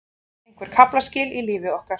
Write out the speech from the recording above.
Einhver kaflaskil í lífi okkar.